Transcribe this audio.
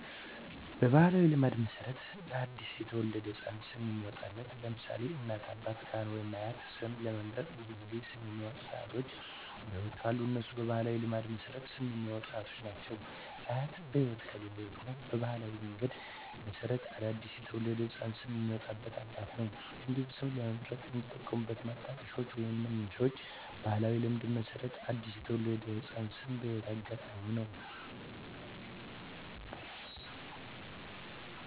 በባሕላዊ ልማድ መሠረት ለ አዲስ የተወለደ ሕፃን ስም የሚያወጣዉ (ለምሳሌ: ከእናት፣ አባት፣ ካህን ወይም አያት) ስም ለመምረጥ ብዙውን ጊዜ ስም የሚያወጡት አያቶች በህይወት ካሉ እነሱ በባህላዊ ልማድ መሠረት ስም የሚያወጡት አያቶች ናቸው። አያት በህይወት ከሌሉ ደግሞ በባህላዊ ልማድ መሠረት ለአዲስ የተወለደ ህፃን ስም የሚያወጣው አባት ነው። እንዲሁም ስም ለመምረጥ የሚጠቀሙት ማጣቀሻዎች ወይንም መነሻዎች በባህላዊ ልማድ መሠረት ለአዲስ የተወለደ ህፃን ስም የህይወት አጋጣሚ ነው።